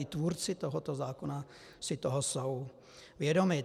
I tvůrci tohoto zákona si toho jsou vědomi.